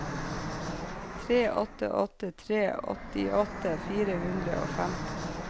tre åtte åtte tre åttiåtte fire hundre og femti